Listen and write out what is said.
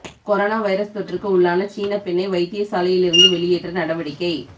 corona virus தொற்றுக்கு உள்ளான சீனப் பெண்ணை வைத்தியசாலையிலிருந்து வெளியேற்ற நடவடிக்கை